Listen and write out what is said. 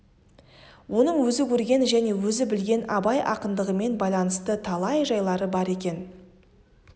оның өзі көрген және өзі білген абай ақындығымен байланысты талай жайлары бар екен